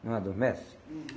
Não adormece? Uhum.